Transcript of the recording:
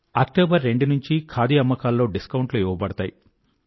October రెండు గురించి ఖాదీ అమ్మకాల్లో డిస్కౌంట్ లు ఇవ్వబడతాయి